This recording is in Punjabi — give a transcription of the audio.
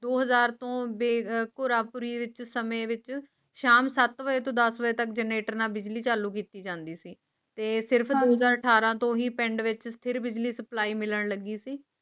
ਦੋ ਹਜ਼ਾਰ ਤੋਂ ਕੋਲ ਪੂਰੀ ਪਰ ਇਸ ਸਮੇਂ ਵਿੱਚ ਸ਼ਾਮ ਸਤ ਵਜੇ ਤੋਂ ਦਾ ਵਜੇ ਤੱਕ ਜਨੇਟਰ ਨਾਲ ਬਿਜਲੀ ਚੱਲਦੀ ਸੀ ਸਿਰਫ ਦੋ ਸੌ ਅਠਾਰਾਂ ਤੋ ਹੀ ਪਿੰਡ ਵਿਚ ਸਿਰ ਬਿਜਲੀ ਸਪਲਾਈ ਮਿਲਣ ਲੱਗੀ ਸੀ